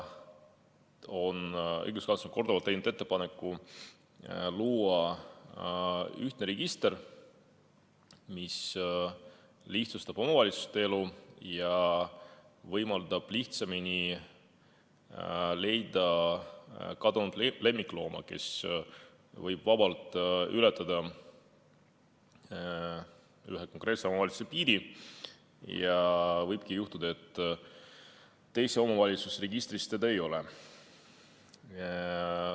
Õiguskantsler on korduvalt teinud ettepaneku luua ühtne register, mis lihtsustab omavalitsuste elu ja võimaldab lihtsamini leida kadunud lemmiklooma, kes võib vabalt ületada ühe omavalitsuse piiri ja võib juhtuda, et teise omavalitsuse registris teda ei ole.